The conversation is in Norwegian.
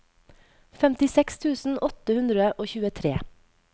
femtiseks tusen åtte hundre og tjuetre